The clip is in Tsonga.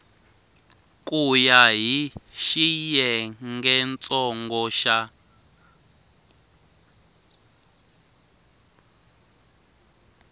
ku ya hi xiyengentsongo xa